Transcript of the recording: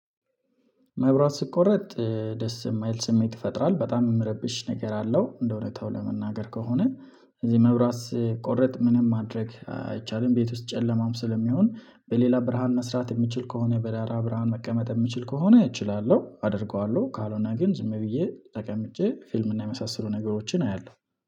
መብራት ሲቆረጥ ደስ የማይል ስሜት ይፈጥራል በጣም የሚረብሽ ነገር አለው እንደው እውነታው ለመናገር ከሆነ። እዚህ መብራት ቆረጥ ምንም ማድረግ አይቻልም ቤት ውስጥ ጨለማም ስለሚሆን በሌላ ብርሃን መስራት የምችል ከሆነ በራራ ብርሃን መቀመጥ የምችል ከሆነ እችላለሁ አደርገዋለሁ ካልሆነ ግን ዝም ብዬ ተቀምጬ ፊልም እና የመሳሰሉ ነገሮችን አያለሁ